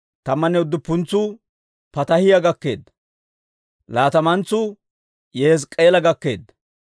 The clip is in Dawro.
Tammanne udduppuntsuu Pataahiyaa gakkeedda. Laatamantsuu Yihezk'k'eela gakkeedda.